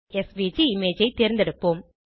SVG image ஐ தேர்ந்தெடுப்போம்